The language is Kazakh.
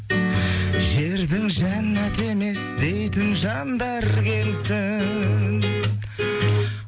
жердің жәннаты емес дейтін жандар келсін